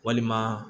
Walima